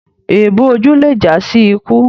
Èébù ojú lé já sí ikú.